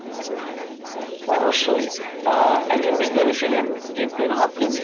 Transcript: অবশ্যই আহ একজন বিজ্ঞানী ছিলেন হকিন